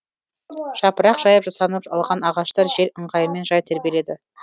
жапырақ жайып жасанып алған ағаштар жел ыңғайымен жай тербеледі